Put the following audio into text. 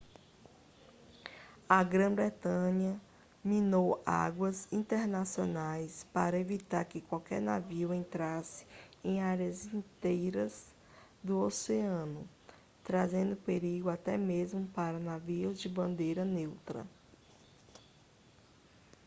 a grã-bretanha minou águas internacionais para evitar que qualquer navio entrasse em áreas inteiras do oceano trazendo perigo até mesmo para navios de bandeira neutra